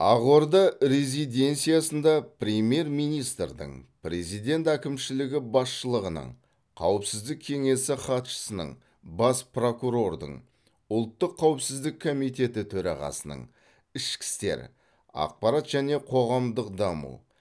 ақорда резиденциясында премьер министрдің президент әкімшілігі басшылығының қауіпсіздік кеңесі хатшысының бас прокурордың ұлттық қауіпсіздік комитеті төрағасының ішкі істер ақпарат және қоғамдық даму